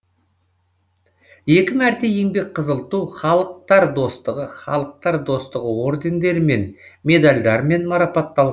екі мәрте еңбек қызыл ту халықтар достығы халықтар достығы ордендерімен медальдармен марапатталған